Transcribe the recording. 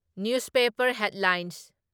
news paper headline